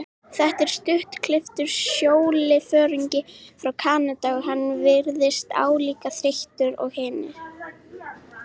Þetta var stuttklipptur sjóliðsforingi frá Kanada og hann virtist álíka þreyttur og við hinir.